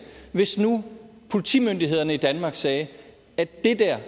hvis nu politimyndighederne i danmark sagde at det der